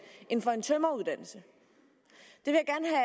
end for en tømreruddannelse det